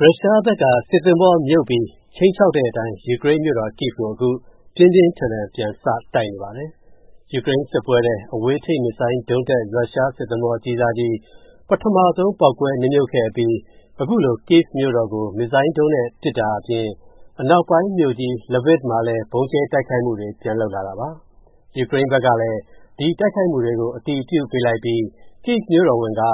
ရုရှားဘက်က စစ်သင်္ဘောမြုပ်ပြီး ခြိမ်းခြောက်တဲ့အတိုင်း ယူကရိန်းမြို့တော် Kyiv ကို အခု ပြင်းပြင်းထန်ထန် ပြန်စတိုက်နေပါတယ်။ ယူကရိန်းစစ်ပွဲထဲ အဝေးထိန်း မစ်ဇိုင်းဒုံးတပ် ရုရှားစစ်သင်္ဘောအကြီးစားကြီး ပထမဆုံး ပေါက်ကွဲနစ်မြုပ်ခဲ့အပြီး အခုလို Kyiv မြို့တော်ကို မစ်ဇိုင်းဒုံးနဲ့ ပစ်တာအပြင် အနောက်ပိုင်းမြို့ကြီး Lviv မှာလည်း ဗုံးကြဲတိုက်ခိုက်မှုတွေ ပြန်လုပ်လာတာပါ။ ယူကရိန်းဘက်ကလည်း ဒီတိုက်ခိုက်မှုတွေကို အတည်ပြုလိုက်ပြီး Kyiv မြို့တော်ဝန်က